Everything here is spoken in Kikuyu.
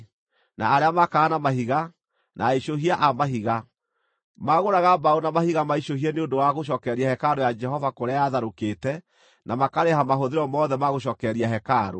na arĩa maakaga na mahiga, na aicũhia a mahiga. Maagũraga mbaũ na mahiga maicũhie nĩ ũndũ wa gũcookereria hekarũ ya Jehova kũrĩa yatharũkĩte na makarĩha mahũthĩro mothe ma gũcookereria hekarũ.